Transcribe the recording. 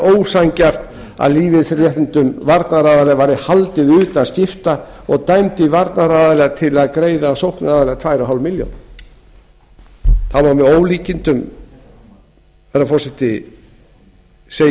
ósanngjarnt að lífeyrisréttindum varnaraðila væri haldið utan skipta og dæmdi varnaraðila til að greiða sóknaraðila tvö og hálfa milljón króna það er með ólíkindum herra forseti að